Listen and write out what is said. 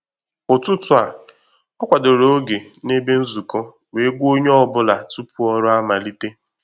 Ụ̀tụtụ̀ a, ọ kwadoro ògè na ebe nzukọ, wee gwa onye ọ bụla tupu ọrụ amalite